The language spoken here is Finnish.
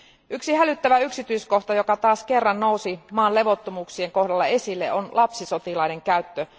Yksi hälyttävä yksityiskohta, joka taas kerran nousi maan levottomuuksien kohdalla esille, on lapsisotilaiden käyttö.